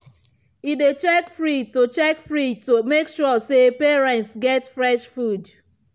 e dey check fridge to check fridge to make sure say parents get fresh food.